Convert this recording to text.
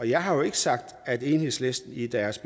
jeg har jo ikke sagt at enhedslisten i deres